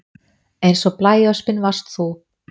Eins og blæöspin varst þú